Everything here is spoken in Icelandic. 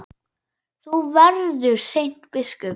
Þú verður seint biskup!